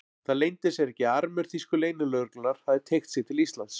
Það leyndi sér ekki, að armur þýsku leynilögreglunnar hafði teygt sig til Íslands.